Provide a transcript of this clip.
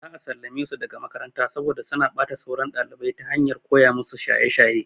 Za a sallame su daga makaranta saboda suna ɓata sauran ɗalibai ta hanyar koya musu shaye shaye.